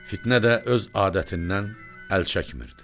Fitnə də öz adətindən əl çəkmirdi.